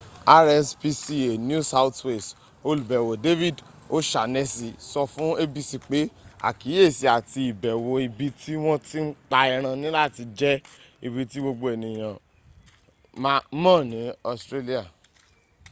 rspca new south wales olùbẹ̀wò david o'shanessy sọ fún abc pé àkíyèsí àti ìbẹ̀wò ibi ti wọ́n ti n pa ẹran niláti jẹ́ ibi tí gbogbo ènìyàn ms ní australia